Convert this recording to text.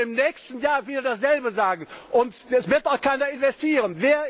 Sie werden im nächsten Jahr wieder dasselbe sagen, und es wird auch keiner investieren.